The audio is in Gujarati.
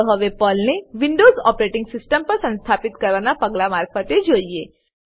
ચાલો હવે પર્લને વિન્ડોવ્ઝ ઓપરેટીંગ સીસ્ટમ પર સંસ્થાપિત કરવાનાં પગલાઓ મારફતે જઈએ